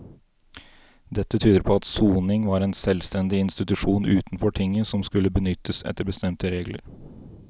Dette tyder på at soning var en selvstendig institusjon utenfor tinget som skulle benyttes etter bestemte regler.